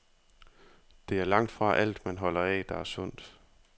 Det er langtfra alt, man holder af, der er sundt.